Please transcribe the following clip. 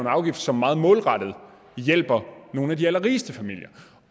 afgift som meget målrettet hjælper nogle af de allerrigeste familier